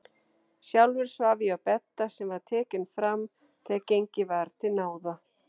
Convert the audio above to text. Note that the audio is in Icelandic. Sjálfur svaf ég á bedda sem var tekinn fram þegar gengið var til náða.